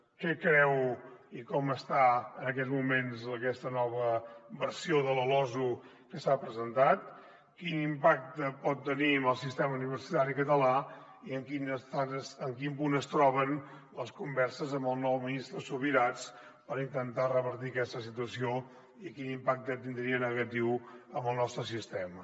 què creu i com està en aquests moments aquesta nova versió de la losu que s’ha presentat quin impacte pot tenir en el sistema universitari català i en quin punt es troben les converses amb el nou ministre subirats per intentar revertir aquesta situació i quin impacte tindria negatiu en el nostre sistema